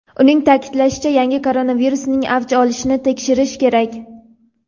Uning ta’kidlashicha, yangi koronavirusning "avj olishini" tekshirish kerak.